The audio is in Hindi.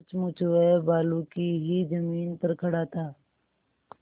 सचमुच वह बालू की ही जमीन पर खड़ा था